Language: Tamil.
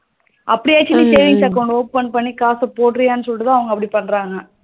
அப்டியச்சும் நீ savings account open பண்ணி காசு போடுறியானு சொல்லிட்டுத அவங்க அப்டி பண்றாங்க